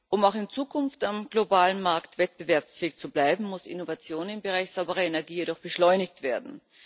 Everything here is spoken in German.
Um auch in Zukunft am globalen Markt wettbewerbsfähig zu bleiben, muss Innovation im Bereich sauberer Energie jedoch beschleunigt werden.